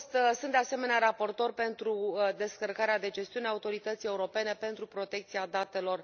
Sunt, de asemenea, raportor pentru descărcarea de gestiune a Autorității Europene pentru Protecția Datelor.